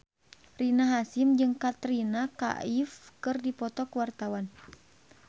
Rina Hasyim jeung Katrina Kaif keur dipoto ku wartawan